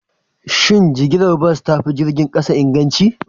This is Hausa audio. Shin jigilar bas ta fi jirgin kasa inganci?